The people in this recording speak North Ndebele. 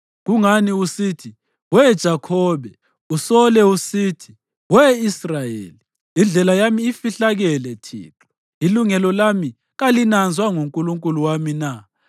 Kungani usithi, we Jakhobe, usole usithi, we Israyeli, “Indlela yami ifihlakele Thixo; ilungelo lami kalinanzwa nguNkulunkulu wami na?”